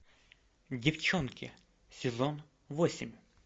девчонки сезон восемь